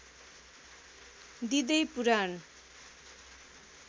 दिँदै पुराण